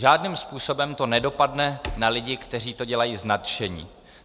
Žádným způsobem to nedopadne na lidi, kteří to dělají z nadšení.